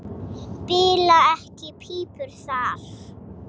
Bila ekki pípur þar.